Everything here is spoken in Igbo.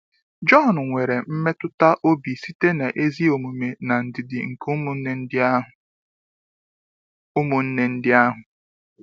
Jọn nwere mmetụta obi site n’ezi omume na ndidi nke ụmụnne ndị ahụ. ụmụnne ndị ahụ.